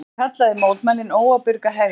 Hann kallaði mótmælin óábyrga hegðun